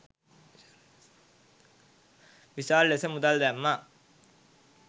විශාල ලෙස මුදල් දැම්මා.